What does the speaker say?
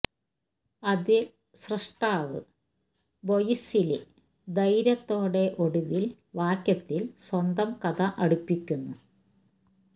അതിൽ സ്രഷ്ടാവ് ബൊയിശ്ല്യ് ധൈര്യത്തോടെ ഒടുവില് വാക്യത്തിൽ സ്വന്തം കഥ അടുപ്പിക്കുന്നു